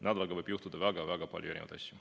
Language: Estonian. Nädalaga võib juhtuda väga-väga palju erinevaid asju.